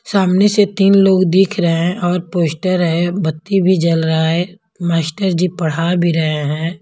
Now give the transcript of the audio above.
सामने से तीन लोग दिख रहे हैं और पोस्टर है बत्ती भी जल रहा है मास्टर जी पढ़ा भी रहे हैं।